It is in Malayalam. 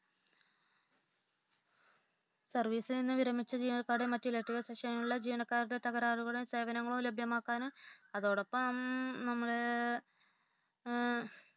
സർവീസിൽ നിന്ന് വിരമിച്ച ജീവനക്കാരുടെയും മറ്റു ഇലെക്ട്രിക്കൽ സെക്ഷണനിലെ ജീവനക്കാരുടെ തകരാറുകളും സേവനങ്ങളും മറ്റും ലഭ്യമാക്കനും അതോടൊപ്പം നമ്മൾ